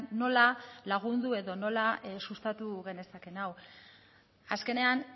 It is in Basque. nola lagundu edo nola sustatu genezakeen hau azkenean